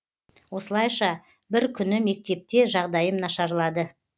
осылайша бір күні мектепте жағдайым нашарлады